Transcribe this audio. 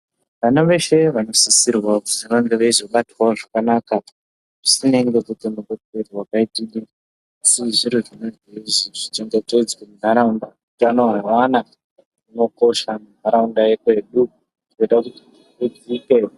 Vana veshe vanosisirwa kuti vange veizobatwawo zvakanaka zvisina nekuti mune zviro zvakati zvisiri zviro zvinenge zveizi zvichengetedzwe muntaraunda utano hweana hunokosha muntaraunda yekwedu hunoite kuti hudzike.